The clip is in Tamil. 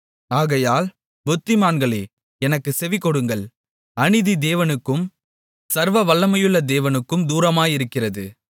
ஆகையால் புத்திமான்களே எனக்குச் செவிகொடுங்கள் அநீதி தேவனுக்கும் சர்வவல்லமையுள்ள தேவனுக்கும் தூரமாயிருக்கிறது